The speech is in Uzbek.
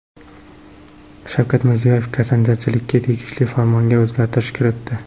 Shavkat Mirziyoyev kasanachilikka tegishli Farmonga o‘zgartish kiritdi.